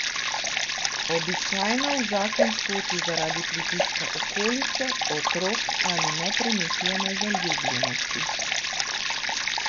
Običajno v zakon skoči zaradi pritiska okolice, otrok ali nepremišljene zaljubljenosti.